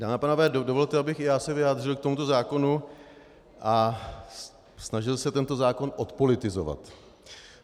Dámy a pánové, dovolte, abych i já se vyjádřil k tomuto zákonu a snažil se tento zákon odpolitizovat.